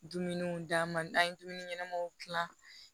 Dumuniw d'an ma n'an ye dumuni ɲɛnɛmaw gilan